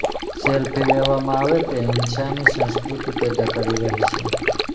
selfie લેવામાં આવે તે હિંસાની સંસ્કૃત્તિ પેદા કરી રહી છે